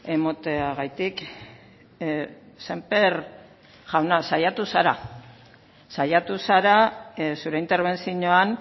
emateagatik sémper jauna saiatu zara zure interbentzioan